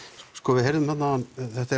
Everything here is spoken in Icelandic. við heyrðum þarna áðan